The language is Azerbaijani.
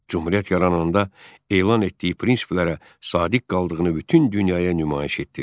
Cümhuriyyət yarananda elan etdiyi prinsiplərə sadiq qaldığını bütün dünyaya nümayiş etdirdi.